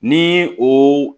Ni o